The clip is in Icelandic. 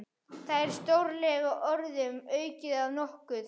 Það er stórlega orðum aukið að nokkuð.